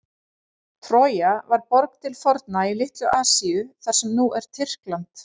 Trója var borg til forna í Litlu-Asíu, þar sem nú er Tyrkland.